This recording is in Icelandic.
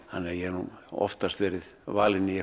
ég hef oftast verið valinn í